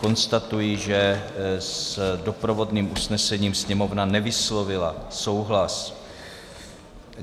Konstatuji, že s doprovodným usnesením Sněmovna nevyslovila souhlas.